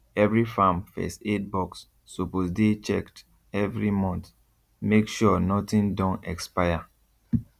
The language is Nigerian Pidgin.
every farm first aid box suppose dey checked every month make sure nothing don expire